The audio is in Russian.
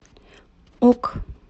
ок